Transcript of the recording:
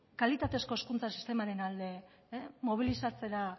kalitatezko hezkuntza sistemaren alde mobilizatzera